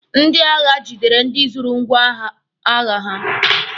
Ndị agha gidere ndị zuru ngwọagha ha.